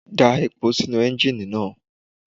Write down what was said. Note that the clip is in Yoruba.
Da epo sínú Ẹ́njíníì náà.